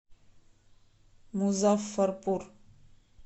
музаффарпур